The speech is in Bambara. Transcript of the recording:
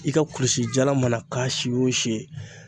I ka kulusi jalan mana k'a si o si